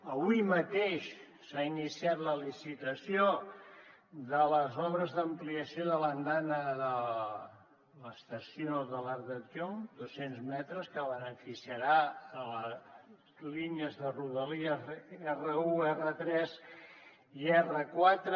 avui mateix s’ha iniciat la licitació de les obres d’ampliació de l’andana de l’estació de l’arc de triomf dos cents metres que beneficiarà les línies de rodalies r1 r3 i r4